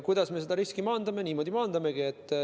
Kuidas me seda riski maandame?